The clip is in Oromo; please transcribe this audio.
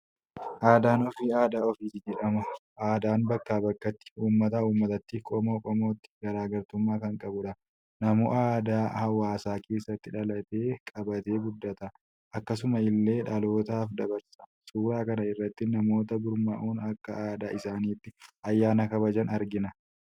Aadaan ofii adda ofiiti jedhama. Aadaan bakkaa bakkatti, uummataa uummatatatti, qomoo qomootti garaagartumaa kan qabudha. Namuu aadaa hawaasa keessatti dhalatee qabatee guddata; akkasuma illee dhalootaaaf dabarsa. Suuraa kana irratti namoota gurmaa'uun akka aadaa isaaniitti ayyaana kabajan argina.